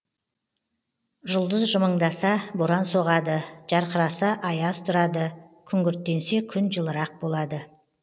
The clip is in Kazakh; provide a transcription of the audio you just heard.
жұлдыз жымыңдаса боран соғады жарқыраса аяз тұрады күңгірттенсе күн жылырақ болады